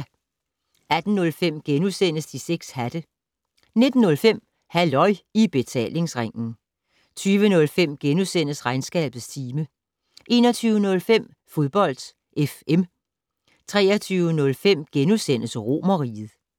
18:05: De 6 hatte * 19:05: Halløj I Betalingsringen 20:05: Regnskabets time * 21:05: Fodbold FM 23:05: Romerriget *